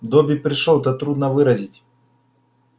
добби пришёл это трудно выразить